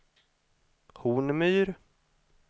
Hornmyr